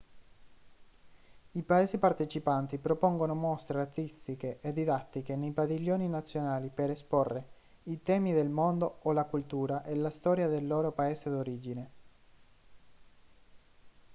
i paesi partecipanti propongono mostre artistiche e didattiche nei padiglioni nazionali per esporre i temi del mondo o la cultura e la storia del loro paese d'origine